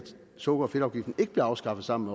sukker og fedtafgiften ikke blev afskaffet sammen